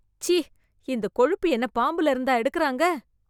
ச்சீ ! இந்தக் கொழுப்பு என்ன பாம்புல இருந்தா எடுக்குறாங்க ?